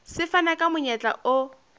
se fana ka monyetla o